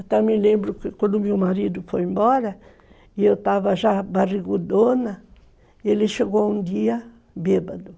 Eu também lembro que quando meu marido foi embora, e eu estava já barrigudona, ele chegou um dia bêbado.